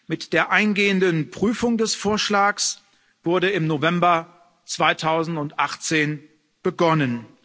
Mit der eingehenden Prüfung des Vorschlags wurde im November 2018 begonnen.